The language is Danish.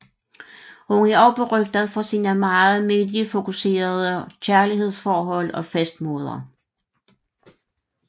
Hun er også berygtet for sine meget mediefokuserede kærlighedsforhold og festmåder